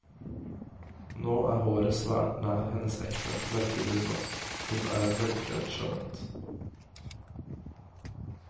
Nå er håret svært nær hennes ekte, mørkebrune, og hun en velkledd skjønnhet.